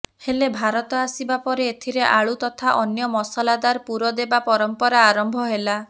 ହେଲେ ଭାରତ ଆସିବା ପରେ ଏଥିରେ ଆଳୁ ତଥା ଅନ୍ୟ ମସଲାଦାର ପୂର ଦେବା ପରମ୍ପରା ଆରମ୍ଭ ହେଲା